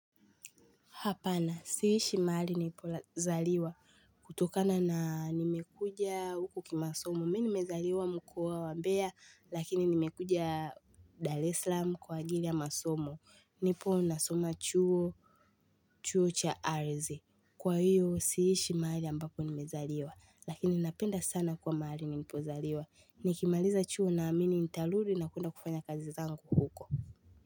Hapana siishi mahali nipozaliwa kutokana na nimekuja huku kimasomo. Mimi nimezaliwa mkoa wa mbea lakini nimekuja Dar es salaam kwa ajili ya masomo. Nipo ninasoma chuo chuo cha ardhi. Kwa hiyo siishi mahali ambapo nimezaliwa lakini napenda sana kuwa mahali nilipozaliwa. Nikimaliza chuo naamini nitarudi na kwenda kufanya kazi zangu huko.